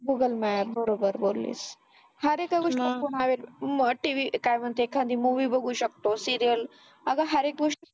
google map बरोबर बोललीस अरे त्या गोष्टी आपण मा TV काय म्हणते एखांदी movie बघू शकतो serial अरे हर एक गोष्ट